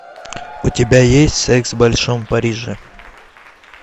у тебя есть секс в большом париже